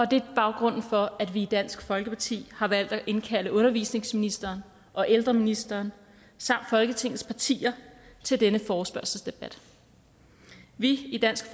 det er baggrunden for at vi i dansk folkeparti har valgt at indkalde undervisningsministeren og ældreministeren samt folketingets partier til denne forespørgselsdebat vi i dansk